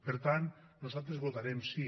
per tant nosaltres votarem sí